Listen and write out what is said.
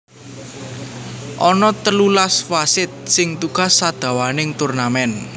Ana telulas wasit sing tugas sadawaning turnamen